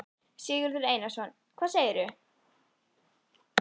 Sigurður Einarsson: Hvað segirðu?